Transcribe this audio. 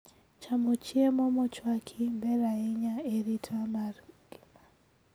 Chamo chiemo mochwaki ber ahinya e arita mar ng'ima